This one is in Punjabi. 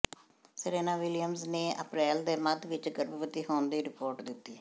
ਸੇਰੇਨਾ ਵਿਲੀਅਮਜ਼ ਨੇ ਅਪ੍ਰੈਲ ਦੇ ਮੱਧ ਵਿਚ ਗਰਭਵਤੀ ਹੋਣ ਦੀ ਰਿਪੋਰਟ ਦਿੱਤੀ